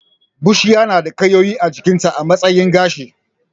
Bushiya na da ƙayoyi a jikinta a matsayin gashi